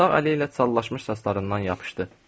Sağ əli ilə çallaşmış saçlarından yapışdı.